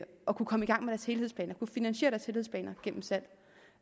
kunne komme i gang med deres helhedsplaner at kunne finansiere deres helhedsplaner gennem salg